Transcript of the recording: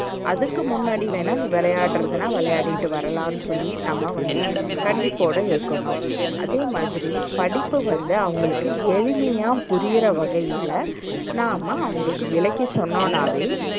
அதுக்கு முன்னாடிவேண்ணா நீ விளையாடுறதுன்னா விளையாடிட்டு வரலாம்னு சொல்லி நம்ம வந்து கண்டிப்போடு இருக்கணும். அதேமாதிரி, படிப்ப வந்து அவங்களுக்கு எளிமையா புரிற வகையில நாம்ம அவங்களுக்கு விளக்கி சொன்னோன்னாவே